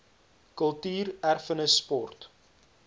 kultuur erfenis sport